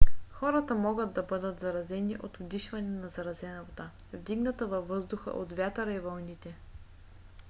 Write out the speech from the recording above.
хората могат да бъдат заразени от вдишване на заразена вода вдигната във въздуха от вятъра и вълните